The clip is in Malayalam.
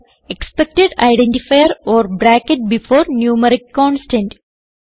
expected identifier or bracket before numeric constant